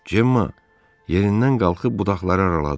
Cemmma yerindən qalxıb budaqları araladı.